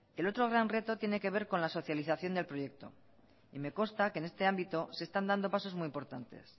el otro gran reto tiene que ver con la socialización del proyecto y me consta que en este ámbito se están dando pasos muy importantes